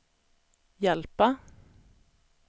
hjälpa